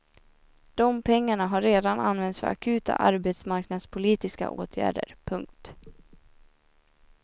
De pengarna har redan använts för akuta arbetsmarknadspolitiska åtgärder. punkt